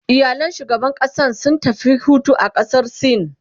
iyalan shugaban ƙasan sun tafi Hutu a ƙasar sin